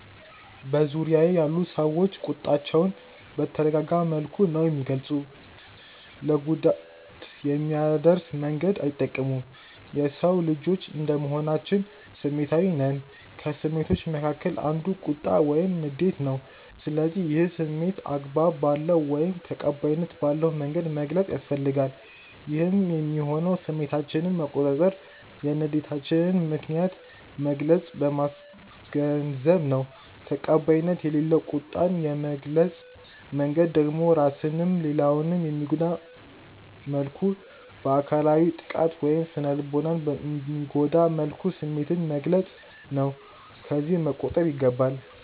በዙርያዬ ያሉ ሰዎች ቁጣቸውን በተረጋጋ መልኩ ነው የሚገልጹት ለጉዳት የሚያደርስ መንገድ አይጠቀሙም። የሰው ልጆች እንደመሆናችን ስሜታዊ ነን። ከስሜቶች መካከል አንዱ ቁጣ ወይም ንዴት ነው፤ ስለዚህ ይህን ስሜት አግባብ ባለው ወይም ተቀባይነት ባለው መንገድ መግለጽ ያስፈልጋል። ይህም የሚሆነው ስሜታችንን በመቆጣጠር የንዴታችንን ምከንያት በግልጽ በማስገንዘብ ነው። ተቀባይነት የሌለው ቁጣን የመግለጽ መንገድ ደግሞ ራስንም ሌላውንም በሚጎዳ መልኩ፤ በአካላዊ ጥቃት ወይም ስነልቦናን በሚጎዳ መልኩ ስሜትን መግለፅ ነው። ከዚህ መቆጠብ ይገባል።